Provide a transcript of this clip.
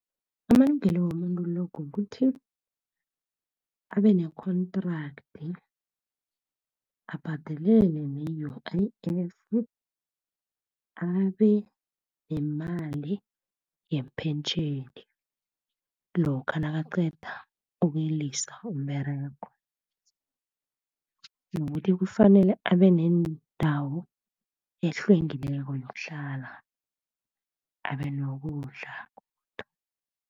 Amalungelo womuntu lo, kukuthi abene-contract, abhadelele ne-U_I_F, abenemali yepentjheni, lokha nakaqeda ukulisa umberego. Nokuthi kufanele abenendawo ehlwengekileko yokuhlala, abenokudla.